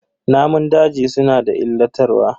Namun daji suna da illatarwa.